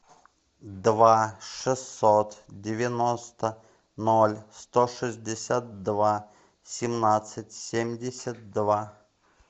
два шестьсот девяносто ноль сто шестьдесят два семнадцать семьдесят два